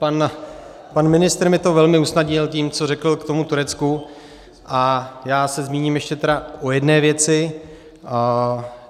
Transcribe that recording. Pan ministr mi to velmi usnadnil tím, co řekl k tomu Turecku, a já se zmíním ještě tedy o jedné věci.